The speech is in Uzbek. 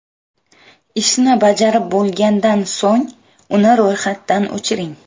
Ishni bajarib bo‘lgandan so‘ng, uni ro‘yxatdan o‘chiring.